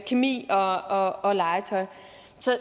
kemi og og legetøj